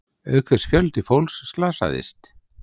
Auk þess fjöldi fólks slasaðist